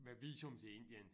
Med visum til Indien